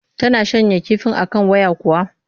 Tana shanya kifin a kan waya kuwa?